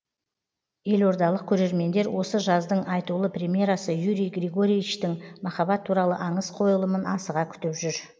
елордалық көрермендер осы жаздың айтулы премьерасы юрий григоровичтің махаббат туралы аңыз қойылымын асыға күтіп жүр